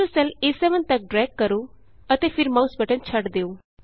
ਇਸਨੂੰ ਸੈੱਲ ਏ7 ਤਕ ਡੈ੍ਗ ਕਰੋ ਅਤੇ ਫਿਰ ਮਾਉਸ ਬਟਨ ਛੱਡ ਦਿਉ